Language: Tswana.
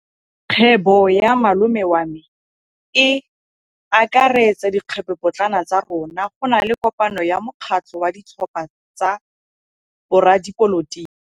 Kgwêbô ya malome wa me e akaretsa dikgwêbôpotlana tsa rona. Go na le kopanô ya mokgatlhô wa ditlhopha tsa boradipolotiki.